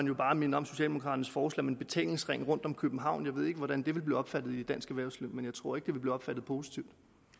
jeg bare minde om socialdemokraternes forslag om en betalingsring rundt om københavn jeg ved ikke hvordan det vil blive opfattet af dansk erhvervsliv men jeg tror ikke at det vil blive opfattet positivt